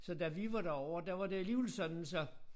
Så da vi var derovre der var det alligevel sådan så